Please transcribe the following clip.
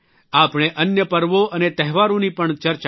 આપણે અન્ય પર્વો અને તહેવારોની પણ ચર્ચા કરી